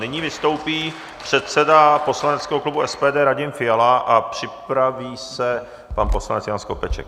Nyní vystoupí předseda poslaneckého klubu SPD Radim Fiala a připraví se pan poslanec Jan Skopeček.